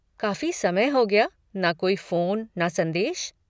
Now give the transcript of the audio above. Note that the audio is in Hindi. काफ़ी समय हो गया, ना कोई फ़ोन ना संदेश।